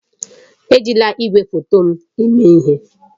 Ejila igwefoto m eme ihe!